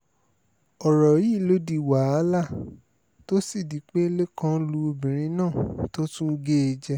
ọ̀rọ̀ yìí ló di wàhálà tó sì di pé lẹ́kàn lu obìnrin náà tó tún gé e jẹ